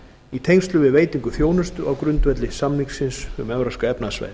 í tengslum við veitingu þjónustu á grundvelli samningsins um evrópska efnahagssvæðið